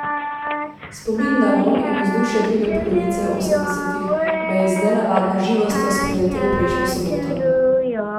Spomin na vonj in vzdušje druge polovice osemdesetih me je z nenavadno živostjo spreletel prejšnjo soboto.